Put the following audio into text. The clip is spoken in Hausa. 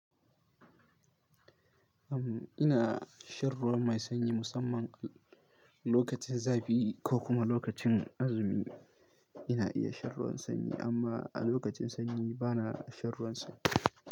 Am ina shan ruwan mai sanyi musamman lokacin zafi ko kuma lokacin azumi ina iya shan ruwan sanyi amma a lokacin sanyi bana shan ruwan sanyi.